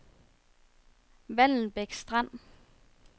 Vallensbæk Strand